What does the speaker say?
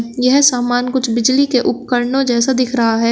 यह सामान कुछ बिजली के उपकरणों जैसा दिख रहा है।